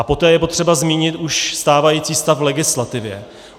A poté je potřeba zmínit už stávající stav v legislativě.